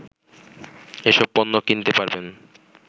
এসব পণ্য কিনতে পারবেন